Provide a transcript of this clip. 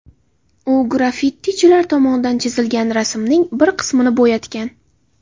U graffitichilar tomonidan chizilgan rasmning bir qismini bo‘yatgan.